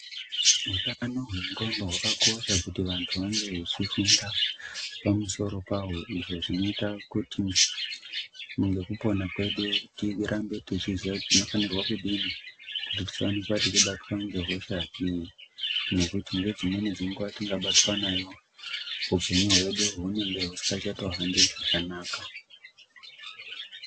Hutano hwengqondo hwakakosha kuti vantu vange vechifunda pamusoro pahwo ,izvo zvinoita kuti ngekupona kwedu tirambe tichiziva kuti tinofanirwa kudini kuti tisawanikwa tichibatwa ngehosha iyi ngekuti munedzimweni dzenguva tikabatwa nayo hupenyu hwedu hunenge husingachato hambi zvakanaka.